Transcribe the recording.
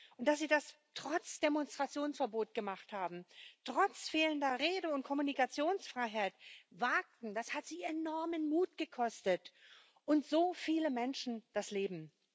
Und dass sie das trotz Demonstrationsverbot gemacht haben, das trotz fehlender Rede und Kommunikationsfreiheit wagten, das hat sie enormen Mut gekostet und so viele Menschen das Leben.